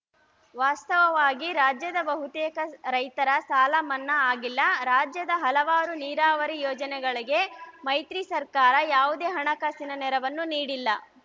ವಾಸ್ತವವಾಗಿ ರಾಜ್ಯದ ಬಹುತೇಕ ರೈತರ ಸಾಲ ಇನ್ನೂ ಮನ್ನಾ ಆಗಿಲ್ಲ ರಾಜ್ಯದ ಹಲವಾರು ನೀರಾವರಿ ಯೋಜನೆಗಳಿಗೆ ಮ್ಯತ್ರಿ ಸರ್ಕಾರ ಯಾವುದೇ ಹಣಕಾಸಿನ ನೆರವನ್ನು ನೀಡಿಲ್ಲ